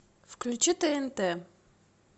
включи тнт